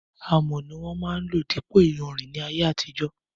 Amọ̀ ni wón máa ń lò dípò iyanrìn ní ayé àtijó.